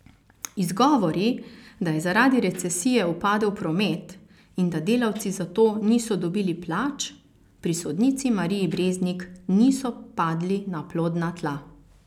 Izgovori, da je zaradi recesije upadel promet in da delavci zato niso dobili plač, pri sodnici Mariji Breznik niso padli na plodna tla.